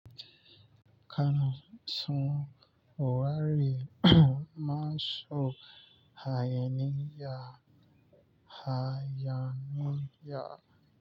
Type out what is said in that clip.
Kana son ware maso hayaniya hayaniya.